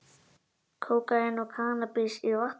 Kókaín og kannabis í vatnsbóli